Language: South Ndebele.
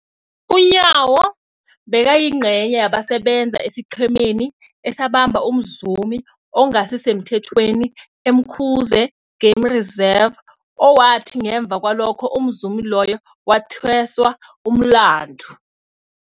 UNyawo bekayingcenye yabasebenza esiqhemeni esabamba umzumi ongasisemthethweni e-Umkhuze Game Reserve, owathi ngemva kwalokho umzumi loyo wathweswa umlandu.